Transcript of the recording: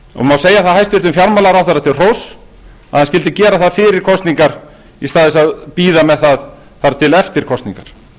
má segja hæstvirtur fjármálaráðherra til hróss að hann skyldi gera það fyrir kosningar í staðinn fyrir að bíða með það þar til eftir kosningar